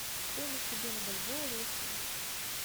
стоимость обмена бальбоа в россии